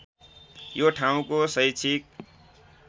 यो ठाउँको शैक्षिक